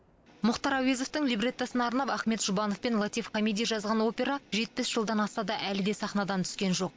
мұхтар әуезовтың либреттосына арнап ахмет жұбанов пен латиф хамиди жазған опера жетпіс жылдан асса да әлі де сахнадан түскен жоқ